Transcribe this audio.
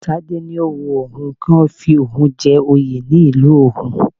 Tádé ni ó wun òun kí wọ́n fi oun jẹ́ oyè ní ìlú òun